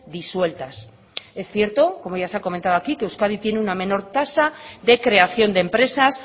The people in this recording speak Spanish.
disueltas es cierto como ya se ha comentado aquí que euskadi tiene una menor tasa de creación de empresas